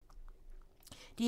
DR2